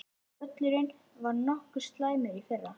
Völlurinn var nokkuð slæmur í fyrra?